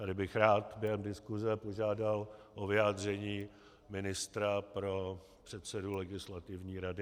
Tady bych rád během diskuse požádal o vyjádření ministra pro předsedu Legislativní rady.